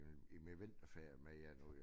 I min vinterferie med jer nu jo